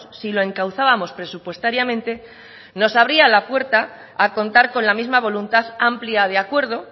si lo encauzábamos presupuestariamente nos abría la puerta a contar con la misma voluntad amplia de acuerdo